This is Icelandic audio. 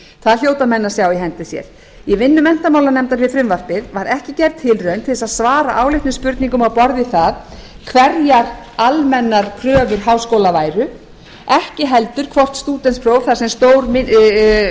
það hljóta menn að sjá í hendi sér í vinnu menntamálanefndar við frumvarpið var ekki gerð tilraun til að svara áleitnum spurningum á borð við það að hverjar almennar kröfur háskóla væru ekki heldur hvort stúdentspróf þar sem stór